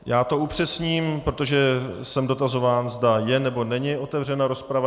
Já to upřesním, protože jsem dotazován, zda je, nebo není otevřená rozprava.